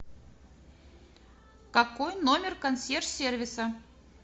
какой номер консьерж сервиса